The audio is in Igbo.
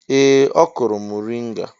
Ee! Ọ kụrụ mọrịnga.